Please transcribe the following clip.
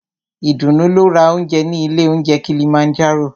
Ìdùnú lọ ra óúnjẹ ní ilé óunjẹ Kilimanjaro.